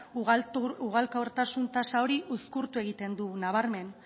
ugalkortasun tasa hori uzkurtu egiten du nabarmen